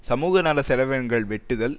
சமூகநல செலவினங்கள் வெட்டுதல்